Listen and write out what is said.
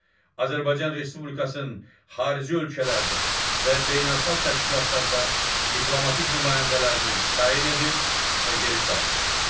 Azərbaycan Respublikasının xarici ölkələrdə və beynəlxalq təşkilatlarda diplomatik nümayəndələrini təyin edir və geri çağırır.